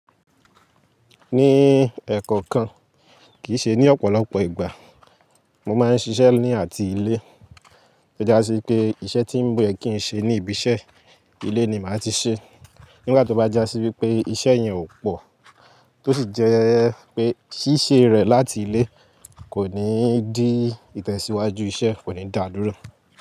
Ní ẹ̀kọ̀kàn, kì í ṣe ní ọ̀pọ̀lọpọ̀ ìgbà mo máa ń ṣiṣẹ́ ní àti ilé. To já sí pé iṣẹ́ tí o yẹ kí n ṣe ní ibi iṣẹ́, ilé ni màá ti ṣe. Nígbà tó bá já sí wípé iṣẹ́ yẹn ò pọ̀, tó sì jẹ́ pé ṣíṣe rẹ̀ láti ilé kò ní dí ìtẹ̀síwájú iṣẹ́, kò ní dà dúró.